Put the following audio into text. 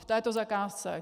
V této zakázce.